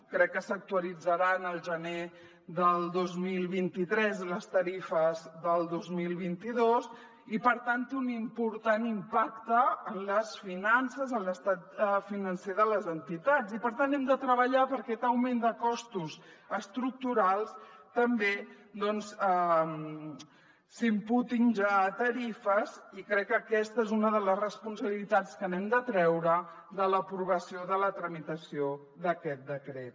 crec que s’actualitzaran al gener del dos mil vint tres les tarifes del dos mil vint dos i per tant té un important impacte en les finances en l’estat financer de les entitats i per tant hem de treballar perquè aquest augment de costos estructurals també doncs s’imputin ja a tarifes i crec que aquesta és una de les responsabilitats que n’hem de treure de l’aprovació de la tramitació d’aquest decret